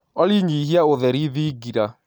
olly nyĩhĩa ũtherĩ thĩngĩra